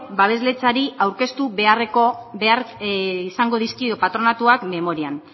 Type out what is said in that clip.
babesletzari aurkeztu behar izango dizkio patronatuak memorian